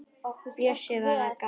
Bjössi var að gabba.